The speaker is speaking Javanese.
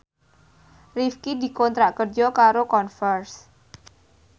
Rifqi dikontrak kerja karo Converse